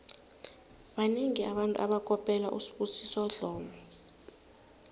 banengi abantu abakopela usibusiso dlomo